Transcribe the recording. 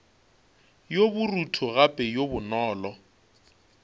yo borutho gape yo bonolo